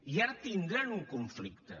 i ara tindran un conflicte